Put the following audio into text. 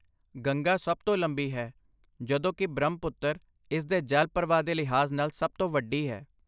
ਗੰਗਾ ਸਭ ਤੋਂ ਲੰਬੀ ਹੈ ਜਦੋਂ ਕਿ ਬ੍ਰਹਮਪੁੱਤਰ ਇਸ ਦੇ ਜਲ ਪ੍ਰਵਾਹ ਦੇ ਲਿਹਾਜ਼ ਨਾਲ ਸਭ ਤੋਂ ਵੱਡੀ ਹੈ।